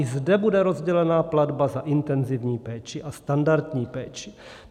I zde bude rozdělena platba za intenzivní péči a standardní péči.